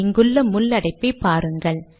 இங்குள்ள முள் அடைப்பை பாருங்கள்